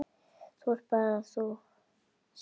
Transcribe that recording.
Það ert bara þú, Sif.